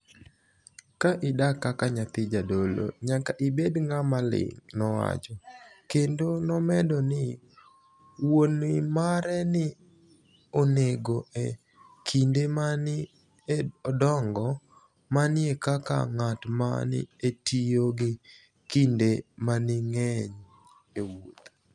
Ka idak kaka niyathi jadolo, niyaka ibed nig'ama olinig',' nowacho, kenido nomedo nii wuoni mare ni e onige e kinide ma ni e odonigo, mania kaka nig'at ma ni e tiyo gi kinide manig'eniy e 'wuoth.'